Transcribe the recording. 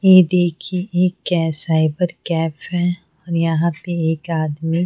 ये देखिए ये क्या है साइबर कैफ है और यहां पे एक आदमी--